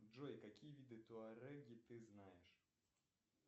джой какие виды туареги ты знаешь